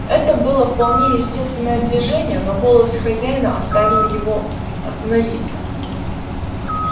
это было вполне естественное движение но голос хозяина оставил его остановиться